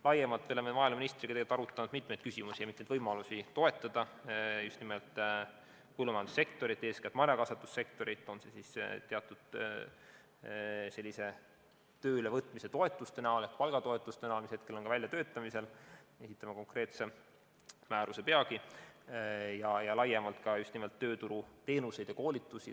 Laiemalt me oleme maaeluministriga tegelikult arutanud mitmeid küsimusi ja mitmeid võimalusi toetada just nimelt põllumajandussektorit, eeskätt marjakasvatussektorit, on see siis teatud tööle võtmise toetuste näol ehk palgatoetuste näol, mis praegu on väljatöötamisel – esitame peagi konkreetse määruse –, või laiemalt pakkudes tööturuteenuseid ja koolitusi.